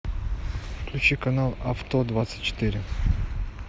включи канал авто двадцать четыре